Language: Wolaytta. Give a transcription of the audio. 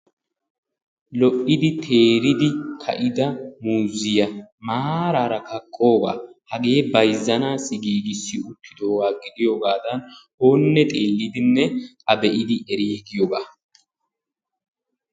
Lo"idi teeridi ka'ida muuzziyaa maarara qorogaa hagee bayzzanaassi giigissi wottidoogaa gidiyogadan oonne xeellidinne a be'idi erigiyoogaa.